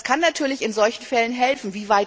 Das kann natürlich in solchen Fällen helfen.